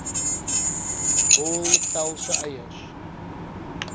wol pelse eiers